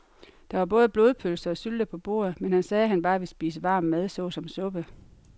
Der var både blodpølse og sylte på bordet, men han sagde, at han bare ville spise varm mad såsom suppe.